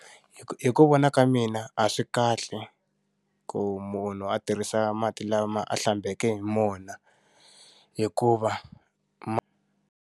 Hi ku vona ka mina a swi kahle ku munhu a tirhisa mati lama a hlambeke hi wona, hikuva .